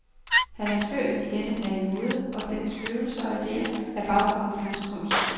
Han er født i denne periode, og dens følelser og idéer er baggrunden for hans kunst.